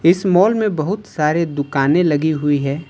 इस मॉल में बहुत सारे दुकानें लगी हुई है।